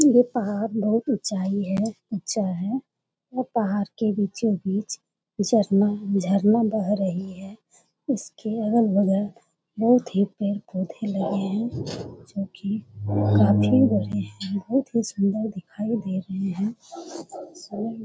ये पहाड़ बहुत उंचाई है ऊंचा है। यह पहाड़ के बीचों-बीच झरना झरना बह रही है। उसके अगल-बगल बहुत ही पेड़-पौधे लगे हैं जो कि काफी बड़े है बहुत ही सुंदर दिखाई दे रहे हैं। --